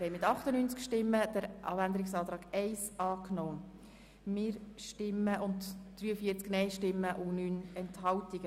Sie haben den Abänderungsantrag 1 mit 114 Stimmen unterstützt gegenüber 35 Stimmen und 0 Enthaltungen.